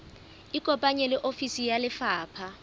ikopanye le ofisi ya lefapha